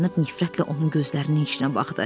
Qız dayanıb nifrətlə onun gözlərinin içinə baxdı.